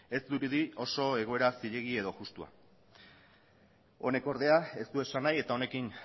ez dirudi oso egoera zilegi edo justua honek ordea ez du esan nahi eta honekin